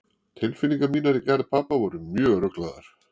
Tilfinningar mínar í garð pabba voru mjög ruglaðar.